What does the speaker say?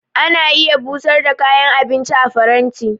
Ana iya busar da kayan abinci a faranti.